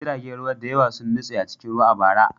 Jiragen ruwa da yawa sun nutse a cikin ruwa a bara.